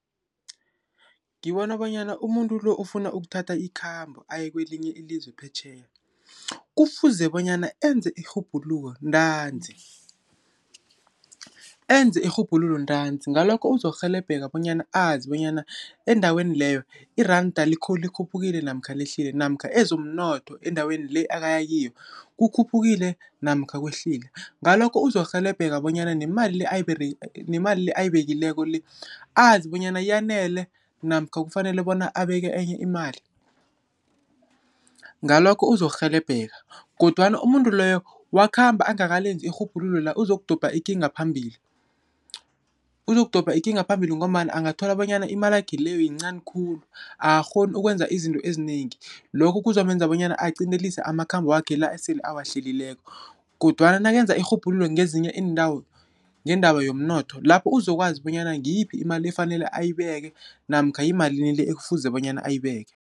Ngibona bonyana umuntu lo, ofuna ukuthatha ikhambo aye kwelinye ilizwe phetjheya, kufuze bonyana enze irhubhululo ntanzi. Ngalokho uzokurhelebheka bonyana azibonyana endaweni leyo, iranda likhuphukile namkha lehlile, namkha ezomnotho endaweni le, akaya kiyo kukhuphukile namkha kwehlile. Ngalokho uzokurhelebheka bonyana nemali le, ayibekileko le azi bonyana yanele, namkha kufanele bona abeke enye imali. Ngalokho uzokurhelebheka, kodwana umuntu loyo, wakhamba angakalenzi irhubhululo la, uzokudobha ikinga phambili. Uzokudobha ikinga phambili, ngombana angathola bonyana imalakhe leyo, yincani khulu, akakghoni ukwenza izinto ezinengi. Lokho kuzomenza bonyana agcindelise amakhambo wakhe la, asele awahlelileko, kodwana nakenza irhubhululo ngezinye iindawo, ngendaba yomnotho, lapho uzokwazi bonyana ngiyiphi imali efanele ayibeke, namkha yimalini le, ekufuze bonyana ayibeke.